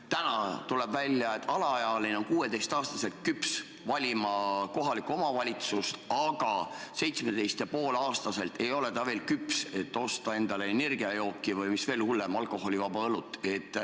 Täna tuleb välja, et alaealine on 16-aastaselt küps valima kohalikku omavalitsust, aga 17,5-aastaselt ei ole ta veel küps, et osta endale energiajooki või, mis veel hullem, alkoholivaba õlut.